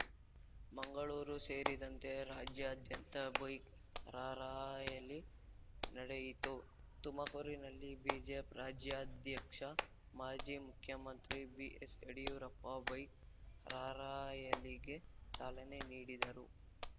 ಮಂಗಳೂರು ಸೇರಿದಂತೆ ರಾಜ್ಯಾದ್ಯಂತ bike rally ನಡೆಯಿತು ತುಮಕೂರಿನಲ್ಲಿ ಬಿಜೆಪಿ ರಾಜ್ಯಾಧ್ಯಕ್ಷ ಮಾಜಿ ಮುಖ್ಯಮಂತ್ರಿ ಬಿಎಸ್‌ಯಡಿಯೂರಪ್ಪ ಬೈಕ್‌ ರಾರ‍ಯಲಿಗೆ ಚಾಲನೆ ನೀಡಿದರು